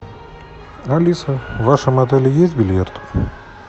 алиса в вашем отеле есть бильярд